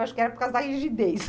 Acho que era por causa da rigidez.